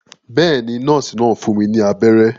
Bẹ́ẹ̀ ni, nọ́ọ́sì náà fún mi ní abẹ́rẹ́.